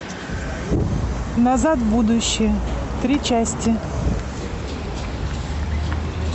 назад в будущее три части